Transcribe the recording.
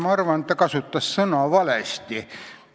Ma arvan, et ta kasutas vale sõna.